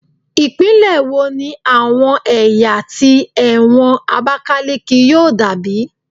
Ipinle wo ni awọn ẹya ti ẹwọn abakaleke yoo dabi